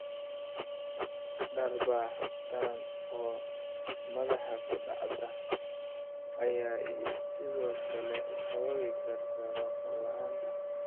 Dharbaaxo daran oo madaxa ku dhaca ayaa sidoo kale sababi karta maqal la'aan.